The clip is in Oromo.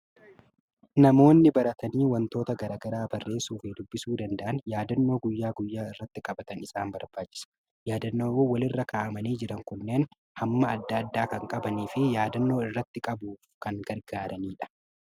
Namoonni baratanii waantota garaa garaa barreessuu fi dubbisuu danda'an yaadannoo guyyaa guyyaa irratti qabatan isaan barbaachisa. Yaadannoowwan walirra kaa'amanii jiran kunneen hamma adda addaa kan qabanii fi yaadannoo irratti qabuuf kan gargaaranidha.